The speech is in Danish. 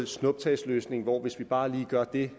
snuptagsløsning hvor hvis vi bare lige gør dét